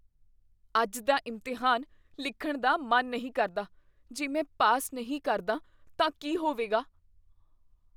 ਅੱਜ ਦਾ ਇਮਤਿਹਾਨ ਲਿਖਣ ਦਾ ਮਨ ਨਹੀਂ ਕਰਦਾ। ਜੇ ਮੈਂ ਪਾਸ ਨਹੀਂ ਕਰਦਾ ਤਾਂ ਕੀ ਹੋਵੇਗਾ?